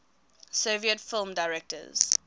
soviet film directors